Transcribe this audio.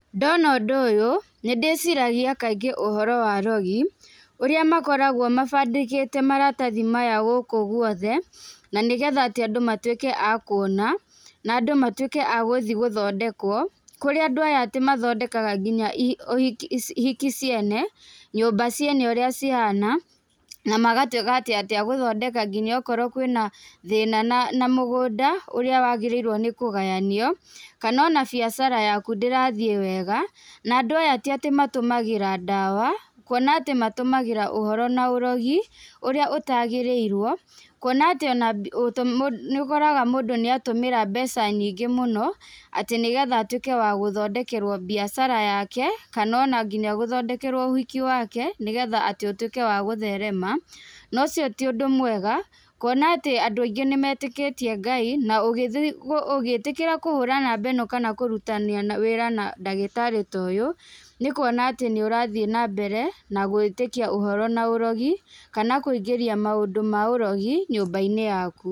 Ndona ũndũ ũyũ, nĩndĩciragia kaingĩ ũhoro wa arogi, ũrĩa makoragwo mabandĩkĩte maratathi maya gũkũ guothe, nanĩgetha atĩ andũ matwĩke a kuona, na nadũ amtwĩke a gũthiĩ gũthondekwo, kũrĩa andũ aya atĩ mathondekaga nginya i ũhiki hiki ciene, nyũmba ciene ũrĩa cihana, na magatwĩka atĩ agũthondeka nginya okorwo kwĩna thĩna na na mũgũnda, ũrĩa wagĩrĩirwo nĩ kũgayanio, kanona biacara yaku ndĩrathiĩ wega, na andũ aya tiatĩ matũmagĩra ndawa, kuona atĩ matũmagĩra ũhoro na ũrogi, ũrĩa ũtagĩrĩirwo, kuona atĩ ona nĩũkoraga mũndũ nĩatũmĩra mbeca nyingĩ mũno, atĩ nĩgetha atwĩke wa gũthondekerwo biacara yake, kanona nginya gũthondekerwo ũhiki wake, nĩgetha tĩ ũtwĩke wa gũtherema, nocio ti ũndũ mwega, kuona atĩ andú aingĩ nímetĩkítie Ngai, na ũgĩthii, ũngĩtĩkĩra kũhura namba ĩno kana kũrutania wĩra na ndagĩtarĩ ta ũyũ, nĩkuona atĩ nĩũrathiĩ nambere na gwĩtĩkia na ũhoro na ũrogi, kana kũingĩria maũndũ ma ũrogi nyũmba-inĩ yaku.